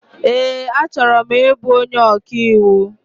Ee, achọrọ m ịbụ onyé ọkaiwu